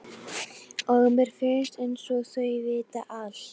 Og mér finnst einsog þau viti allt.